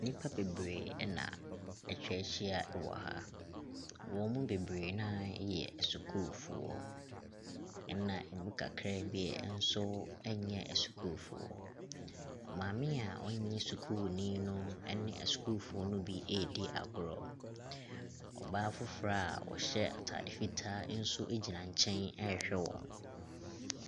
Nnipa bebree ɛna atwa hyia ɛwɔ ha, wɔn mu bebree noa yɛ sukuufoɔ, ɛna ɛmu kakra bi nso nyɛ asukuufoɔ. Maame a ɔnyɛ sukuuni no ɛne asukuufoɔ no bi ɛɛdi agorɔ, ɔbaa foforɔ ɔhyɛ ataade fitaa nso ɛgyina nkyɛn ɛɛhwɛ wɔn.